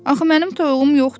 Axı mənim toyuğum yoxdur.